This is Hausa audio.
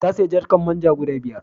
Ta sayi jarkar man ja guda biyar.